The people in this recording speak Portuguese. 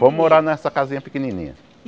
Fomos morar nessa casinha pequenininha.